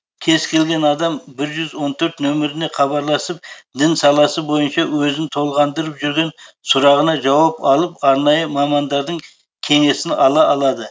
кез келген адам бір жүз он төрт номеріне хабарласып дін саласы бойынша өзін толғандырып жүрген сұрағына жауап алып арнайы мамандардың кеңесін ала алады